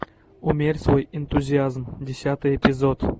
умерь свой энтузиазм десятый эпизод